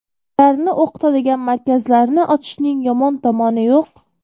Ularni o‘qitadigan markazlarni ochishning yomon tomoni yo‘q.